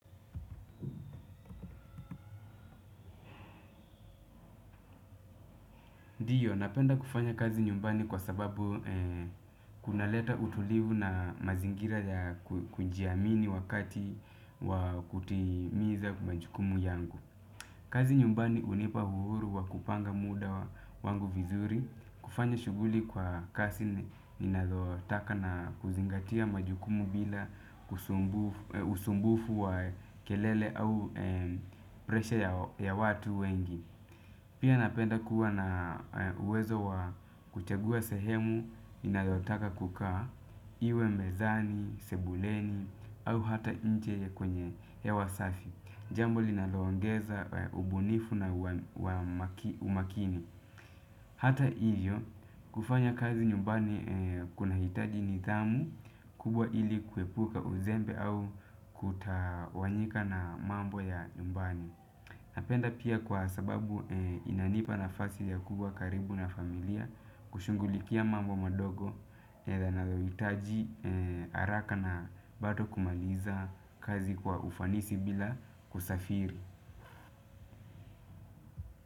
Ndiyo, napenda kufanya kazi nyumbani kwa sababu kunaleta utulivu na mazingira ya kujiamini wakati wa kutimiza majukumu yangu. Kazi nyumbani hunipa uhuru wa kupanga muda wangu vizuri. Kufanya shughuli kwa kasi ninayotaka na kuzingatia majukumu bila usumbufu wa kelele au presha ya watu wengi. Pia napenda kuwa na uwezo wa kuchagua sehemu ninayotaka kukaa iwe mezani, sebuleni au hata inje kwenye hewa safi. Jambo linaloongeza ubunifu na umakini hata hiyo kufanya kazi nyumbani kunahitaji nidhamu kubwa ili kuepuka uzembe au kutawanyika na mambo ya nyumbani. Napenda pia kwa sababu inanipa nafasi ya kubwa karibu na familia kushughulikia mambo madogo yanayohitaji haraka na bato kumaliza kazi kwa ufanisi bila kusafiri.